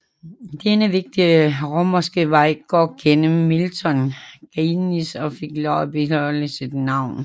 Denne vigtige romerske vej går gennem Milton Keynes og fik lov at beholde sit navn